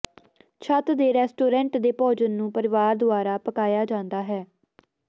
ਛੱਤ ਦੇ ਰੈਸਟੋਰੈਂਟ ਦੇ ਭੋਜਨ ਨੂੰ ਪਰਿਵਾਰ ਦੁਆਰਾ ਪਕਾਇਆ ਜਾਂਦਾ ਹੈ